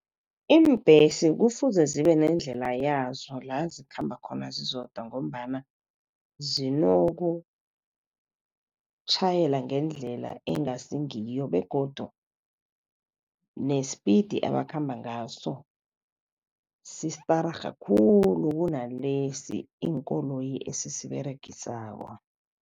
Iimbhesi kufuze zibe nendlela yazo la zikhamba khona zizodwa ngombana zinokutjhayela ngendlela engasi ngiyo, begodu nespiti abakhamba ngaso sistararha khulu kunalesi iinkoloyi esisiberegisako.